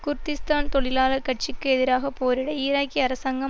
Kurdistan தொழிலாளர் கட்சிக்கு எதிராக போரிட ஈராக்கிய அரசாங்கம்